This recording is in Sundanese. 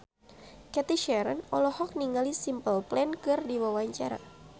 Cathy Sharon olohok ningali Simple Plan keur diwawancara